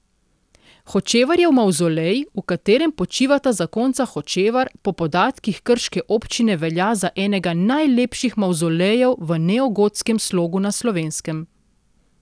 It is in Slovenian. Hočevarjev mavzolej, v katerem počivata zakonca Hočevar, po podatkih krške občine velja za enega najlepših mavzolejev v neogotskem slogu na Slovenskem.